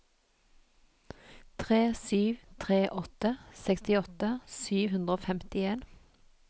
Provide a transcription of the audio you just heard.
tre sju tre åtte sekstiåtte sju hundre og femtien